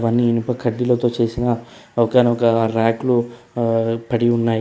కొన్నీ ఇనుప కడ్డీలతో చేసిన ఒకన ఒక ర్యక్ లో ఆ పడి ఉన్నాయి.